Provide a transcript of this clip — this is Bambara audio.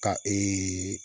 Ka